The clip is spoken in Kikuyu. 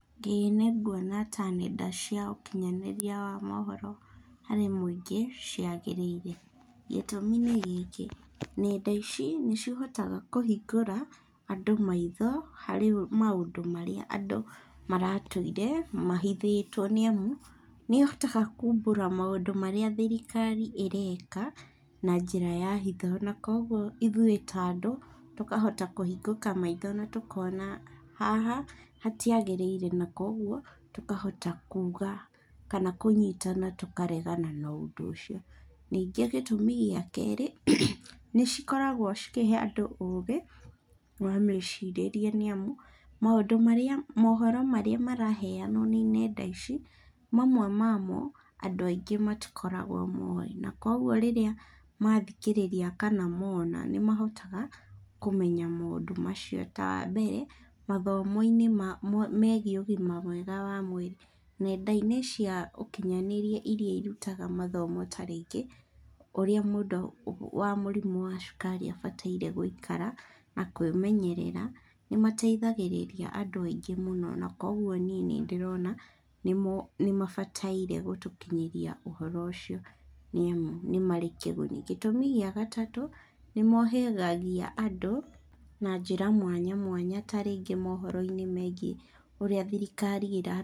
Ĩĩ nĩnguona ta nenda cia ũkinyanĩria wa mohoro harĩ mũingĩ ciagĩrĩire. Gĩtũmi nĩ gĩkĩ, nenda ici nĩcihotaga kũhingũra andũ maitho harĩ maũ ndũ marĩa andũ maratũire mahithĩtwo nĩamu, nĩ ĩhotaga kumbũra maũndũ marĩa thirikari ĩreka na njĩra ya hitho, na kuoguo ithuĩ ta andũ tũkahota kũhingũka maitho na tũkona, haha hatiagĩrĩire na kuoguo tũkahota kuga kana kũnyitana tũkaregana a ũndũ ũcio. Ningĩ gĩtũmi gĩa kerĩ, nĩ cikoragwo cikĩhe andũ ũgĩ wa mecirĩrie nĩamu, maũndũ marĩa, mohoro marĩa maraheanwo nĩ nenda ici, mamwe mamo andũ aingĩ matikoragwo moĩ, na kuoguo rĩrĩa mathikĩrĩria kana mona nĩmahotaga kũmenya maũndũ macio, ta wambere, mathomo-iĩ megiĩ ũgima mwega wa mwĩrĩ. Nenda-inĩ cia ũkinyanĩria iria irutaga mathomo ta rĩngĩ, ũrĩa mũndũ wa mũrimũ wa cukari abataire gũikara na kwĩmenyerera, nĩ mateithagĩrĩria andũ aingĩ mũno, na kuoguo niĩ ndĩrona nĩmabataire gũtũkinyĩria ũhoro ũcio nĩamu nĩ marĩ kĩguni. Gĩtũmi gĩa gatatũ, nĩmohĩhagia andũ na njĩra mwanya mwanya ta rĩngĩ mohoro-inĩ megiĩ ũrĩa thirikari ĩra.